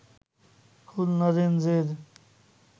খুলনা রেঞ্জের